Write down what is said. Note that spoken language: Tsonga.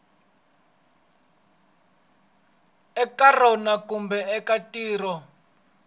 eka rona kumbe eka tiko